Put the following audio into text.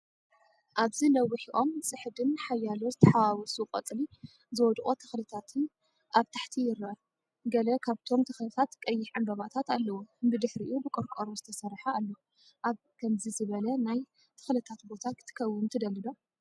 ኣብዚ ነዊሕ ኦም ጽሕድን ሓያሎ ዝተሓዋወሱ ቆጽሊ ዝወድቁ ተኽልታትን ኣብ ታሕቲ ይርአ። ገለ ካብቶም ተኽልታት ቀይሕ ዕምባባታት ኣለዎም። ብድሕሪኡ ብቆርቆሮ ዝተሰርሐ ኣሎ። ኣብ ከምዚ ዝበለ ናይ ተክልታት ቦታ ክትከውን ትደሊ ዶ?